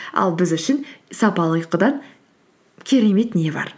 ал біз үшін сапалы ұйқыдан керемет не бар